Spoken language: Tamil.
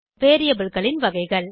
variableகளின் வகைகள்